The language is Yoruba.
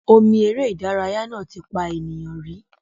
Omi eré ìdárayá náà ti pa ènìyàn rí.